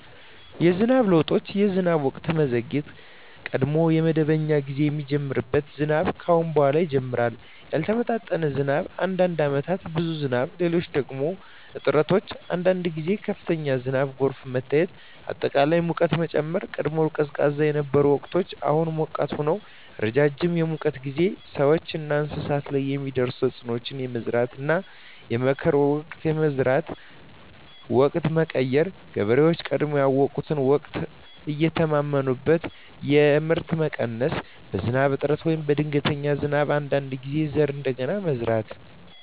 የዝናብ ለውጦች የዝናብ ወቅት መዘግየት – ቀድሞ በመደበኛ ጊዜ የሚጀምር ዝናብ አሁን በኋላ ይጀምራል ያልተመጣጠነ ዝናብ – አንዳንድ ዓመታት ብዙ ዝናብ፣ ሌሎች ደግሞ እጥረት አንዳንድ ጊዜ ከፍተኛ ዝናብና ጎርፍ መታየት አጠቃላይ ሙቀት መጨመር – ቀድሞ ቀዝቃዛ የነበሩ ወቅቶች አሁን ሞቃት ሆነዋል ረጅም የሙቀት ጊዜ – ሰዎችና እንስሳት ላይ የሚያደርስ ተፅዕኖ የመዝራትና የመከር ወቅት የመዝራት ወቅት መቀየር – ገበሬዎች ቀድሞ ያውቁትን ወቅት አይተማመኑበትም የምርት መቀነስ – በዝናብ እጥረት ወይም በድንገተኛ ዝናብ አንዳንድ ጊዜ ዘር እንደገና መዝራት